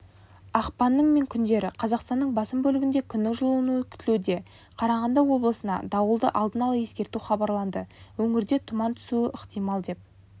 ақпанның мен күндері қазақстанның басым бөлігінде күннің жылынуы күтілуде қарағанды облысына дауылды алдын ала ескерту хабарланды өңірде тұман түсуі ықтимал деп